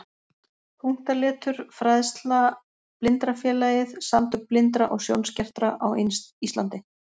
Punktaletur Fræðsla Blindrafélagið- Samtök blindra og sjónskertra á Íslandi.